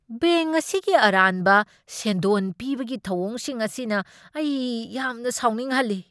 Bank ꯑꯁꯤꯒꯤ ꯑꯔꯥꯟꯕ ꯁꯦꯟꯗꯣꯟ ꯄꯤꯕꯒꯤ ꯊꯧꯑꯣꯡꯁꯤꯡ ꯑꯁꯤꯅ ꯑꯩ ꯌꯥꯝꯅ ꯁꯥꯎꯅꯤꯡꯍꯜꯂꯤ꯫